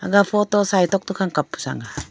aga photo sai tok tokhang kap pu sang ga.